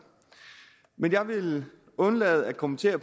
men jeg vil undlade at kommentere